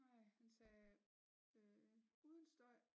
Nej han sagde uden støj